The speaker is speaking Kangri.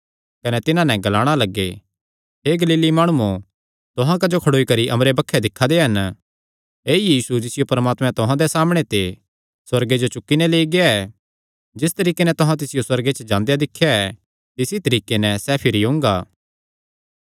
कने तिन्हां नैं ग्लाणा लग्गे हे गलीली माणुओ तुहां क्जो खड़ोई करी अम्बरे बक्खी दिक्खा दे हन ऐई यीशु जिसियो परमात्मा तुहां दे सामणै ते सुअर्गे जो चुक्की नैं लेई गेआ ऐ जिस तरीके नैं तुहां तिसियो सुअर्गे च जांदे दिख्या ऐ तिस ई तरीके नैं सैह़ भिरी ओंगा